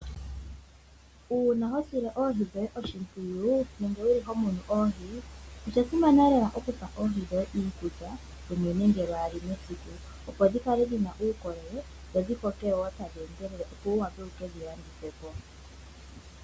Uuna ho sile oohi dhoye oshimpwiyu nenge ho mono oohi osha simana lela opo wu kale ho pe oohi dhoye iikukulya nenge lwaali mesiku, opo dhi kale dhina uukolele dho dhi koke wo tadhi endelele ngoye wu wa pe wuke dhi landithe po.